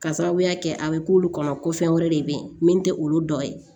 Ka sababuya kɛ a bɛ k'olu kɔnɔ ko fɛn wɛrɛ de bɛyi min tɛ olu dɔ ye